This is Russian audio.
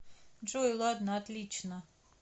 джой ладно отлично